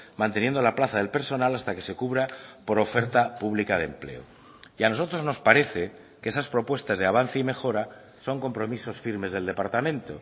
manteniendo la plaza del personal hasta que se cubra por oferta pública de empleo y a nosotros nos parece que esas propuestas de avance y mejora son compromisos firmes del departamento